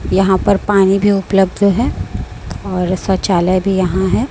यहां पर पानी भी उपलब्ध है और शौचालय भी यहां है।